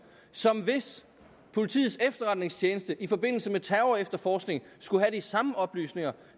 som hvis politiets efterretningstjeneste i forbindelse med terrorefterforskning skulle have de samme oplysninger